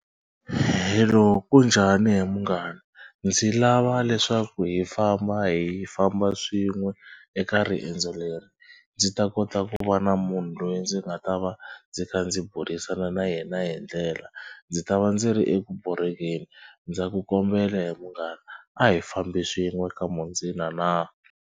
Hello kunjhani he munghana. Ndzi lava leswaku hi famba hi famba swin'we eka riendzo leri ndzi ta kota ku va na munhu loyi ndzi nga ta va ndzi kha ndzi burisana na yena hi ndlela. Ndzi ta va ndzi ri eku borhekeni. Ndza ku kombela he munghana a hi fambi swin'we kamundzina na.